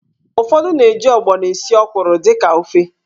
Ufọdụ na-eji ọgbọnọ esi ọ́kwụ̀rụ̀ dịka ofe.